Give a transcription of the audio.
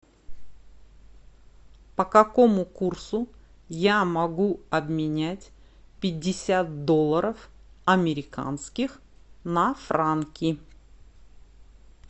по какому курсу я могу обменять пятьдесят долларов американских на франки